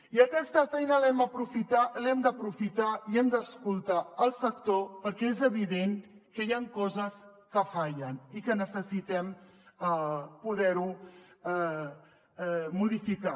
i aquesta feina l’hem d’aprofitar i hem d’escoltar el sector perquè és evident que hi ha coses que fallen i que necessitem poder ho modificar